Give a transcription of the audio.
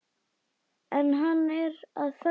En hann er að föndra.